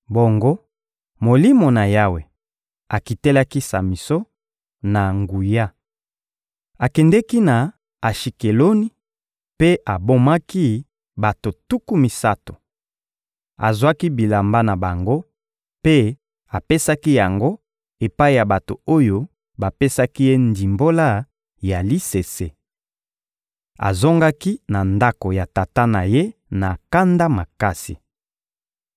Bongo Molimo na Yawe akitelaki Samison na nguya. Akendeki na Ashikeloni mpe abomaki bato tuku misato, azwaki bilamba na bango mpe apesaki yango epai ya bato oyo bapesaki ye ndimbola ya lisese. Azongaki na ndako ya tata na ye na kanda makasi.